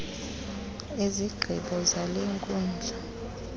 izigqibo zale nkundla